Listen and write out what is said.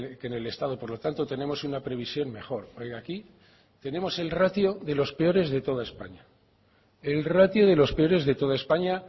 que en el estado por lo tanto tenemos una previsión mejor oiga aquí tenemos el ratio de los peores de toda españa el ratio de los peores de toda españa